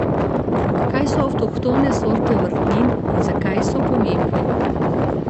Kaj so avtohtone sorte vrtnin in zakaj so pomembne?